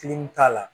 k'a la